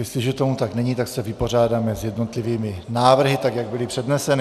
Jestliže tomu tak není, tak se vypořádáme s jednotlivými návrhy, tak jak byly předneseny.